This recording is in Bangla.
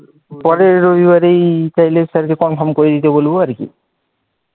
পরের রবিবারেরি তাহলে sir কে confirm করে দিতে বলব আর কি